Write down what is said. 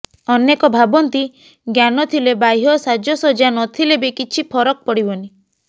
ଅନେକେ ଭାବନ୍ତି ଜ୍ଞାନ ଥିଲେ ବାହ୍ୟ ସାଜସଜା ନଥିଲେ ବି କିଛି ଫରକ ପଡ଼ିବନି